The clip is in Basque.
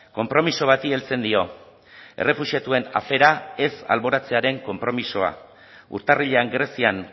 konpromiso bati heltzen dio errefuxiatuen afera ez alboratzearen konpromisoa urtarrilean grezian